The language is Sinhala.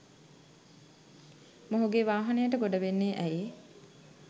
මොහුගේ වාහනයට ගොඩ වෙන්නේ ඇයි?